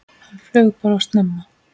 Hann flaug bara of snemma.